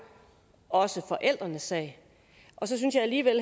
også forældrenes sag og så synes jeg alligevel